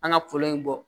An ka kolo in bɔ